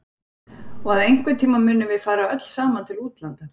Og að einhvern tíma munum við fara öll saman til útlanda.